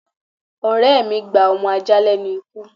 Ọ̀rẹ́ mí gba ọmọ ajá lénu ikú